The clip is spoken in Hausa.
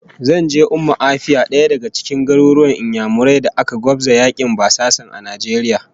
Zan je Umma Afia, daya daga cikin garuruwan Inyamurai da aka gwabza yakin basasan Najeriya